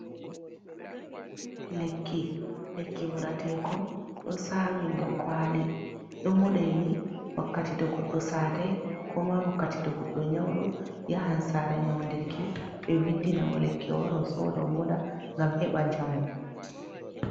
Lekki, lekki moɗeteekon ɗo saawi nder kwaali ɗo moɗeeni wakkati, to goɗɗo saatay, koo ma wakkati to goɗɗo nyawɗoo yahan saara nyaƴndirki ɓe windina mo lekki, wara soodo moɗa ngam he ɓan njamu.